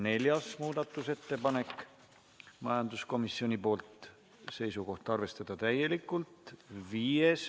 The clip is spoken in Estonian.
Neljas muudatusettepanek, majanduskomisjonilt, seisukoht: arvestada täielikult.